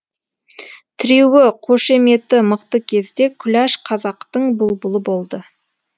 тіреуі қошеметі мықты кезде күләш қазақтың бұлбұлы болды